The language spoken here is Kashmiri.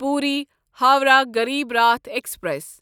پوٗری ہووراہ غریٖب راٹھ ایکسپریس